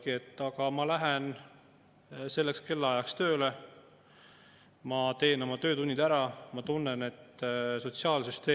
Mis muidugi on kurb kõigi nende maksueelnõude puhul, mida me siin menetleme – äravõetud suurperede toetus, käibemaksu tõus, aktsiisitõusud –, on hulk inimesi, kes ütlevad, et neil on Eestis elades kadunud kindlustunne.